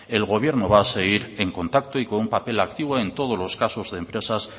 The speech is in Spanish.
el gobierno va a seguir en contacto y con un papel activo en todos los casos de empresas